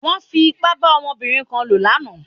Wọ́n fi ipá bá ọmọbìnrin kan lò lánàá.